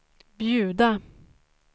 bjuda